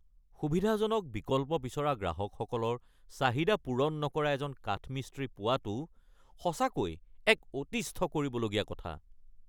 সুবিধাজনক বিকল্প বিচৰা গ্ৰাহকসকলৰ চাহিদা পূৰণ নকৰা এজন কাঠমিস্ত্ৰী পোৱাটো সঁচাকৈ এক অতিষ্ঠ কৰিবলগীয়া কথা।